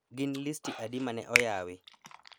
Gin listi adi mane oyawi